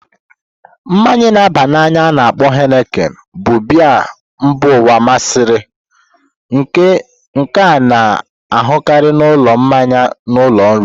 Mmanyi na aba na anya a-na akpo Henikin bụ biya mba ụwa masịrị, nke a na-ahụkarị n'ụlọ mmanya na ụlọ nri.